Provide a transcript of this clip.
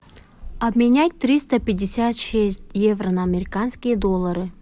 обменять триста пятьдесят шесть евро на американские доллары